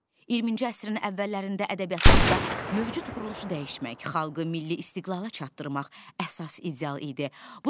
20-ci əsrin əvvəllərində ədəbiyyatımızda mövcud quruluşu dəyişmək, xalqı milli istiqlala çatdırmaq əsas ideal idi.